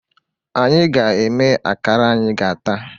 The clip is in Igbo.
Anyị ga-eme akara anyị ga-ata